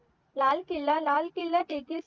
Lal Qila Lal Qila